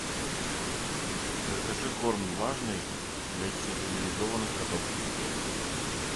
закажи корм влажный для стерилизованных котов